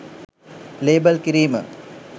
label කිරීම